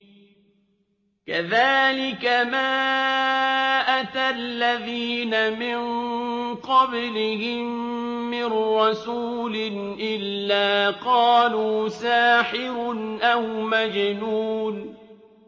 كَذَٰلِكَ مَا أَتَى الَّذِينَ مِن قَبْلِهِم مِّن رَّسُولٍ إِلَّا قَالُوا سَاحِرٌ أَوْ مَجْنُونٌ